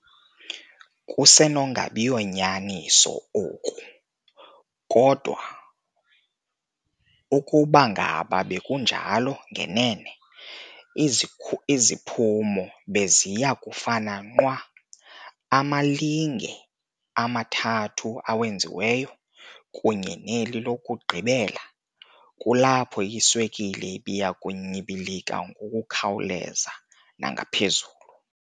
Kusenokunabiyo nyaniso oku, kodwa ukubangaba bekunjalo ngenene, iziphumo beziyakufana nqwa- amalinge amathathu awenziweyo, kunye neli lokugqibela kulapho iswekile ibiyakunyibilika ngokukhawuleza nangaphezulu.